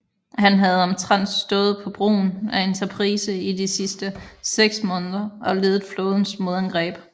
Han havde omtrent stået på broen af Enterprise i de sidste seks måneder og ledet flådens modangreb